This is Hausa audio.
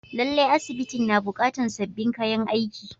Lallai, asibitin na buƙatar sabbin kayan aiki.